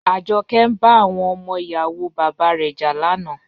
Ajoke n ba awon omo iyawo baba re ja lana.